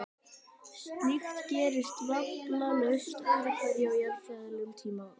Slíkt gerist vafalaust öðru hverju á jarðfræðilegum tímakvarða.